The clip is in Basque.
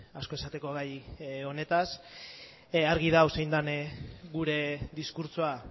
asko esateko gai honetaz argi dago zein den gure diskurtsoa